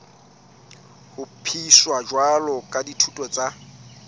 hlophiswa jwalo ka dithuto tsa